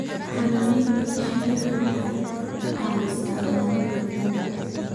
Xannaanada shinnidu waxay caawisaa ilaalinta deegaanka.